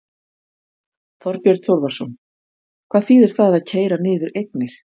Þorbjörn Þórðarson: Hvað þýðir það að keyra niður eignir?